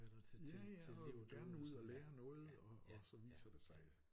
Ja ja og vil gerne ud at lære noget og så viser det sig